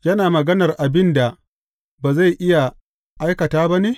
Yana maganar abin da ba zai iya aikata ba ne?